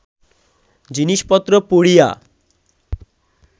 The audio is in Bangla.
জিনিষপত্র পুড়িয়া